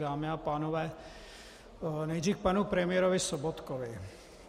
Dámy a pánové, nejdřív k panu premiérovi Sobotkovi.